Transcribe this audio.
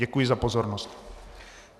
Děkuji za pozornost.